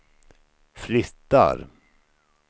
flyttar